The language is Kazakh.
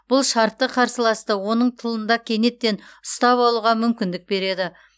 бұл шартты қарсыласты оның тылында кенеттен ұстап алуға мүмкіндік береді